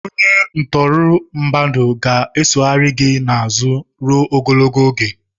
Onye ntụrụ mmadụ ga-esoghari gị n'azụ ruo ogologo oge.